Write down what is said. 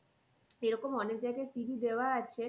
সেরকম অনেক জায়গায় CV দেওয়া আছে